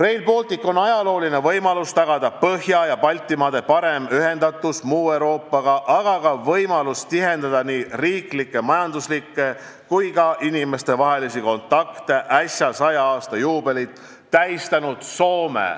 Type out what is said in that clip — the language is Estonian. Rail Baltic on ajalooline võimalus tagada Põhja- ja Baltimaade parem ühendatus muu Euroopaga, aga ka võimalus tihendada nii riiklikke, majanduslikke kui ka inimestevahelisi kontakte äsja 100 aasta juubelit tähistanud Soome,